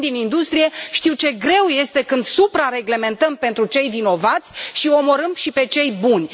Eu vin din industrie, știu ce greu este când supra reglementăm pentru cei vinovați și i omorâm și pe cei buni.